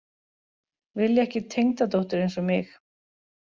Vilja ekki tengdadóttur eins og mig